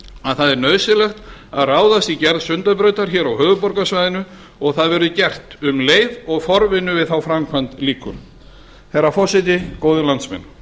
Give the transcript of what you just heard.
að það er nauðsynlegt að ráðast í gerð sundabrautar hér á höfuðborgarsvæðinu og það verður gert um leið og forvinnu við þá framkvæmd lýkur herra forseti góðir landsmenn